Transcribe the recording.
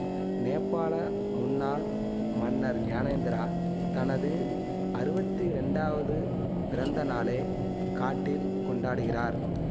நேபாள முன்னாள் மன்னர் ஞானேந்திரா தனது அறுவத்தி ரெண்டாவது பிறந்த நாளை காட்டில் கொண்டாடுகிறார்